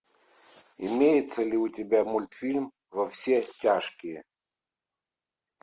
имеется ли у тебя мультфильм во все тяжкие